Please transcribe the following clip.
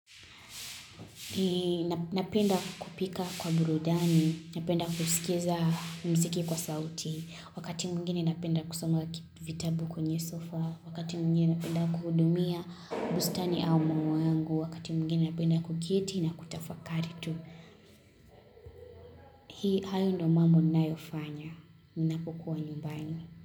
Napenda kupika kwa burudani, napenda kuskiza mziki kwa sauti Wakati mwingine napenda kusoma vitabu kwenye sofa Wakati mwingine napenda kuhudumia bustani au maua yangu Wakati mwingine napenda kuketi na kutafakari tu Hii ndio ninayofanya napokua nyumbani.